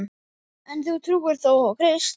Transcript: En þú trúir þó á Krist?